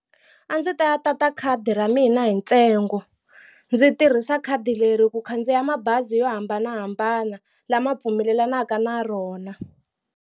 A ndzi ta ya tata khadi ra mina hi ntsengo ndzi tirhisa khadi leri ku khandziya mabazi yo hambanahambana lama pfumelelaka na rona.